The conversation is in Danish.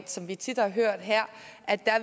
som vi tit har hørt her